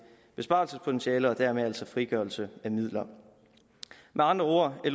besparelsespotentiale og dermed altså frigørelse af midler med andre ord er